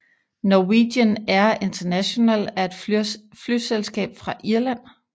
Norwegian Air International er et flyselskab fra Irland